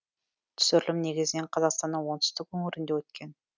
түсірілім негізінен қазақстанның оңтүстік өңірінде өткен